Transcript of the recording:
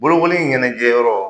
Bolokoli ɲɛnajɛyɔrɔ